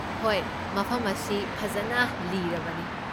ꯍꯣꯏ, ꯃꯐꯝ ꯑꯁꯤ ꯐꯖꯅ ꯂꯤꯔꯕꯅꯤ ꯫